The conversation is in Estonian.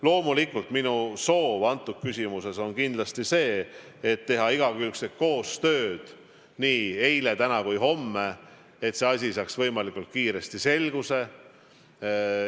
Loomulikult, minu soov on selles küsimuses kindlasti see, et tehtaks igakülgset koostööd nii eile, täna kui ka homme, et see asi saaks võimalikult kiiresti selguse.